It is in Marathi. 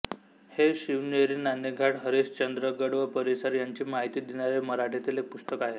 हे शिवनेरीनाणेघाटहरिश्चंद्रगड व परिसर याची माहिती देणारे मराठीतील एक पुस्तक आहे